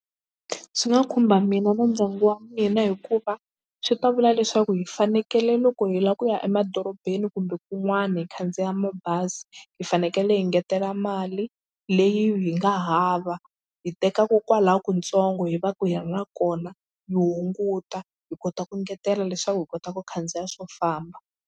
Swi nga khumba mina na ndyangu wa mina hikuva swi ta vula leswaku hi fanekele loko hi lava ku ya emadorobeni kumbe kun'wana hi khandziya mabazi hi fanekele hi ngetela mali leyi hi nga hava hi tekaka kokwala kutsongo hi va hi ri na kona hi hunguta hi kota ku engetela leswaku hi kota ku khandziya swo famba.